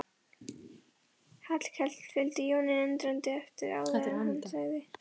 Hallkell fylgdi Jóni undrandi eftir áður en hann sagði